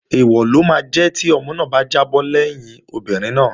Èèwọ̀ ló máa jẹ́ tí ọmọ náà bá jábọ́ lẹ́yìn obìnrin náà